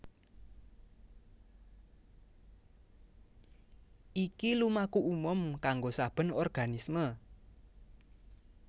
Iki lumaku umum kanggo saben organisme